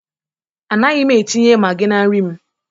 Anaghị m etinye Magi na nri m